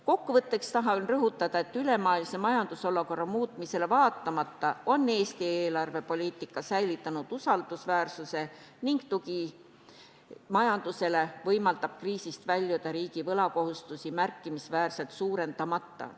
Kokkuvõtteks tahan rõhutada, et ülemaailmse majandusolukorra muutumisele vaatamata on Eesti eelarvepoliitika säilitanud usaldusväärsuse ning tugi majandusele võimaldab kriisist väljuda riigi võlakohustusi märkimisväärselt suurendamata.